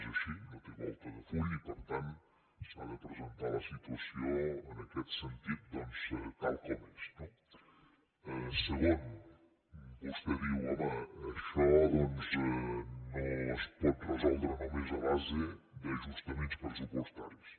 és així no té volta de full i per tant s’ha de presentar la situació en aquest sentit doncs tal com és no segon vostè diu home això doncs no es pot resoldre només a base d’ajustaments pressupostaris